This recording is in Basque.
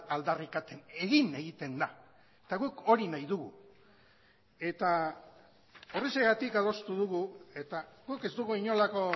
aldarrikatzen egin egiten da eta guk hori nahi dugu eta horrexegatik adostu dugu eta guk ez dugu inolako